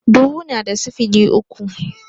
Dubu na da sifili uku